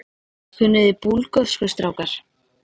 Kunniði Búlgörsku strákar?